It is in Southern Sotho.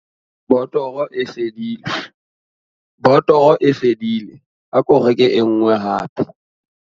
botoro e fedile ako reke e nngwe hape